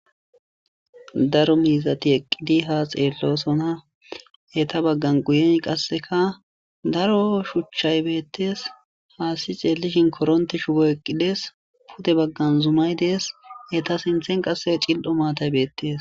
daro miizati eqqidi ha xeellosona eta baggan guyen qasseka daro shuchchay beettees haasi xeellishin koronte shubo eqqides pute baggan zumay dees eta sinthen qassea cil7o maatay beettees